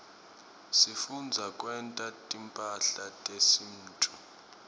sifundza kwenta timphahla tesintfu